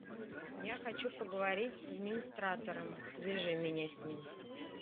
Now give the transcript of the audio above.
я хочу поговорить с администратором свяжи меня с ним